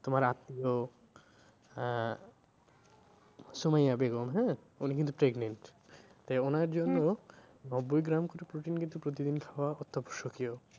তোমার আত্মীয় আহ সোমাইয়া বেগম হ্যাঁ? উনি কিন্তু pregnant তাই ওনার জন্য নব্বই গ্রাম করে protein কিন্তু প্রতিদিন খাওয়া অত্যাবশ্যকীয়।